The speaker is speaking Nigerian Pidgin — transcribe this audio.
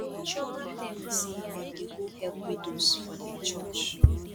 chioma tell me say dem dey go help widows for dia church